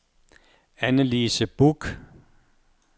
Annelise Buch